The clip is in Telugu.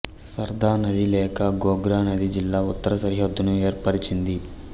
సర్దా నది లేక గోగ్రా నది జిల్లా ఉత్తర సరిహద్దును ఏర్పరచింది